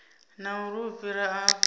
na uri u fhira afho